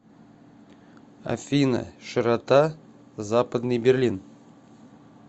афина широта западный берлин